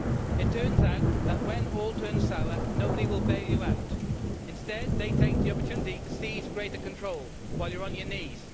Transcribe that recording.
It turns out that, when all turns sour, no one will bail you out. Instead, they take the opportunity to seize greater control while you are on your knees.